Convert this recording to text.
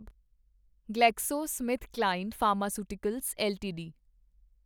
GlaxoSmithKline pharmaceuticals LTD